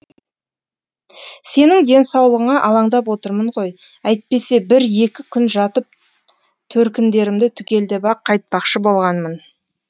сенің денсаулығыңа алаңдап отырмын ғой әйтпесе бір екі күн жатып төркіндерімді түгелдеп ақ қайтпақшы болғанмын